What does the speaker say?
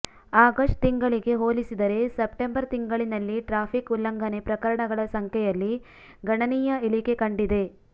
August ತಿಂಗಳಿಗೆ ಹೋಲಿಸಿದರೆ September ತಿಂಗಳಿನಲ್ಲಿ ಟ್ರಾಫಿಕ್ ಉಲ್ಲಂಘನೆ ಪ್ರಕರಣಗಳ ಸಂಖ್ಯೆಯಲ್ಲಿ ಗಣನೀಯ ಇಳಿಕೆ ಕಂಡಿದೆ